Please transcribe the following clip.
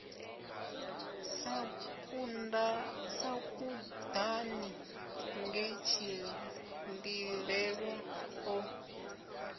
sa kudani nge tshililelwa o